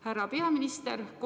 Härra peaminister!